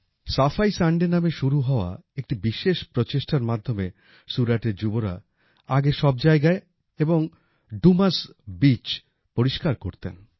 সাফাই সানডে নামে শুরু হওয়া একটি বিশেষ প্রচেষ্টার মাধ্যমে সুরাটের যুবরা আগে সব জায়গায় এবং ডু মাস বিচ পরিষ্কার করতেন